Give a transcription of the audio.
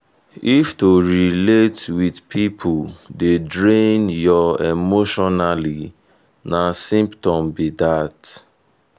if to relate with people dey drain your emotionally na symptom be that.